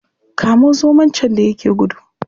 Kamo zomo can da ya yake gudu.